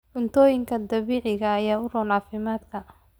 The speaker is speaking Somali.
Cuntooyinka dabiiciga ah ayaa u roon caafimaadka.